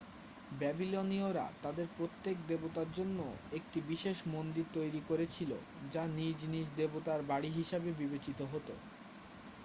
ব্যাবিলনীয়রা তাদের প্রত্যেক দেবতার জন্য একটি বিশেষ মন্দির তৈরি করেছিল যা নিজ নিজ দেবতার বাড়ি হিসাবে বিবেচিত হত